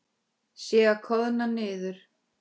Sé að koðna niður.